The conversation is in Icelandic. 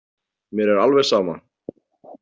Mér er alveg sama.